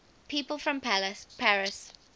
people from paris